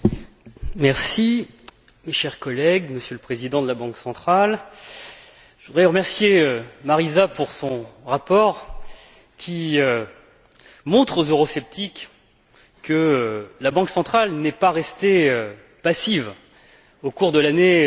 Madame la Présidente, chers collègues, Monsieur le Président de la Banque centrale, je voudrais remercier Marisa Matias pour son rapport, qui montre aux eurosceptiques que la Banque centrale n'est pas restée passive au cours de l'année